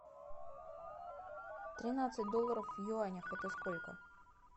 тринадцать долларов в юанях это сколько